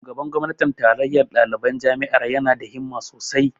Shugaban gwamnatin tarayyar ɗaliban jami'ar ya na da himma sosai